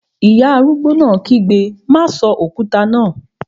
Ìyá arúgbó náà kígbe, "má sọ òkúta náà!"